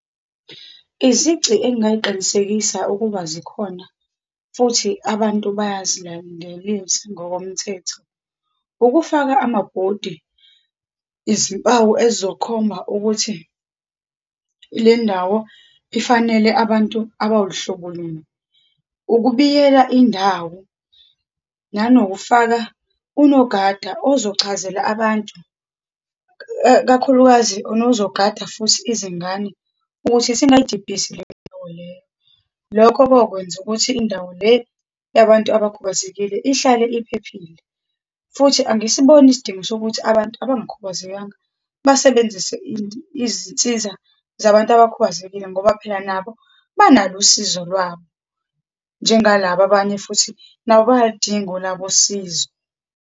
Izici engingayiqinisekisa ukuba zikhona, futhi abantu bayazilandelisa ngokomthetho, ukufaka amabhodi, izimpawu ezokhomba ukuthi lendawo ifanele abantu abaluhlobo luni, ukubiyela indawo, nanokufaka unogada ozochazela abantu, kakhulukazi onozogada futhi izingane ukuthi singayidibhisi leyo ndawo leyo. Lokho kokwenza ukuthi, indawo le yabantu abakhubazekile ihlale iphephile. Futhi angisiboni isidingo sokuthi abantu abangakhubazekanga basebenzise izinsiza zabantu abakhubazekile, ngoba phela nabo banalo usizo lwabo, njengalaba abanye futhi nabo bayaludinga olabo usizo.